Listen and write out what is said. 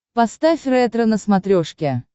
поставь ретро на смотрешке